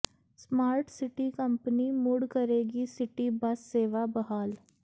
smart city company ਮੁੜ ਕਰੇਗੀ city bus ਸੇਵਾ ਬਹਾਲ